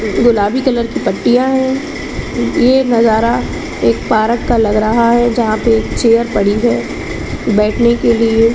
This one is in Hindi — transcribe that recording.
गुलाबी कलर की पत्तिया है ये नज़ारा एक पारक का लग रहा है जहाँ पे एक चेयर पड़ी है बैठने के लिए।